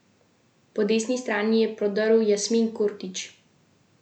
Po desni strani je prodrl Jasmin Kurtić.